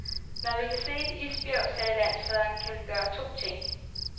Når vi kan se et isbjerg, sagde landsfaderen, kan vi gøre to ting.